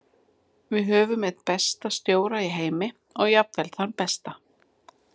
Við höfum einn besta stjóra í heimi og jafnvel þann besta.